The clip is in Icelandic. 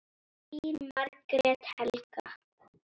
Þín Margrét Helga.